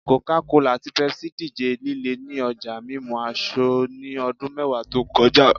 Coca-Cola ati Pepsi dije lile ni ọja mimu asọ ni ọdun mẹwa to kọja